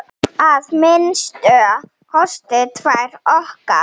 Að minnsta kosti tvær okkar.